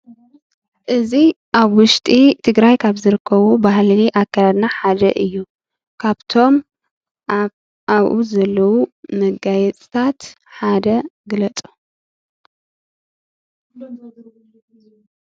እዚ ኣብ ውሽጢ ትግራይ ካብ ዝርከቡ ባህሊ ኣከዳድና ሓደ እዩ። ካብቶም ኣብኡ ዘለዉ መጋየፅታት ሓደ ግለፁ?